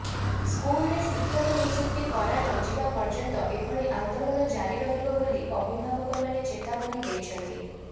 ସ୍କୁଲରେ ଶିକ୍ଷକ ନିଯୁକ୍ତ କରାନଯିବା ପର୍ଯ୍ୟନ୍ତ ଏଭଳି ଆନ୍ଦୋଳନ ଜାରି ରହିବ ବୋଲି ଅଭିଭାବକମାନେ ଚେତାବନୀ ଦେଇଛନ୍ତି